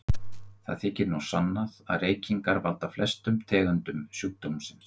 Það þykir nú sannað að reykingar valda flestum tegundum sjúkdómsins.